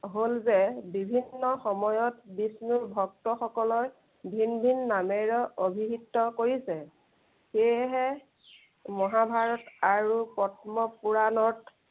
হল যে বিভিন্ন বিষ্ণুৰ ভক্তসকলৰ ভিন ভিন নামেৰে অভিহিত কৰিছে। সেয়েহে, মহাভাৰত আৰু পদ্ম পূৰাণত